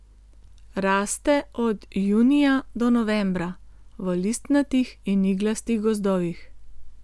Raste od junija do novembra v listnatih in iglastih gozdovih.